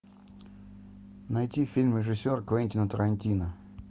найти фильм режиссера квентина тарантино